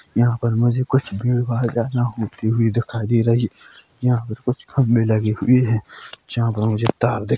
यहाँ पर मुझे कुछ भीड़ -भाड़ जयादा होती हुई दिखाई दे रही यहाँ पर कुछ खंभे लगे हुए है जहाँ पर मुझे तार दि --